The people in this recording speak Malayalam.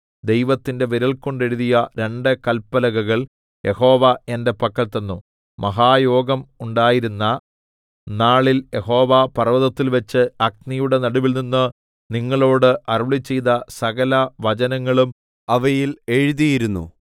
ദൈവത്തിന്റെ വിരൽകൊണ്ട് എഴുതിയ രണ്ടു കല്പലകകൾ യഹോവ എന്റെ പക്കൽ തന്നു മഹായോഗം ഉണ്ടായിരുന്ന നാളിൽ യഹോവ പർവ്വതത്തിൽവച്ച് അഗ്നിയുടെ നടുവിൽനിന്ന് നിങ്ങളോട് അരുളിച്ചെയ്ത സകലവചനങ്ങളും അവയിൽ എഴുതിയിരുന്നു